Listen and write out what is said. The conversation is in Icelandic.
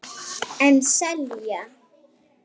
En selja.